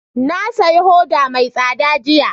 Na saya hoda mai tsada jiya